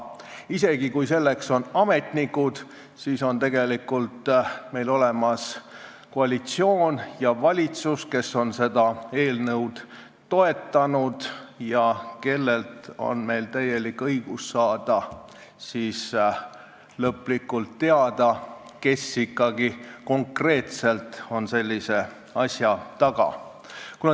Isegi kui selleks on ametnikud, siis on meil tegelikult olemas koalitsioon ja valitsus, kes on seda eelnõu toetanud ja kellelt meil on täielik õigus saada teada, kes ikkagi konkreetselt on sellise sammu taga.